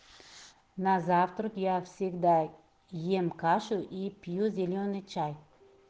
на завтрак я всегда ем кашу и пью зелёный чай